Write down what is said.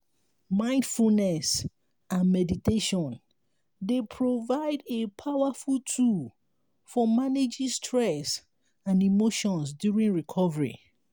mindfulness and meditation dey provide a powerful tool for managing stress and emotions during recovery.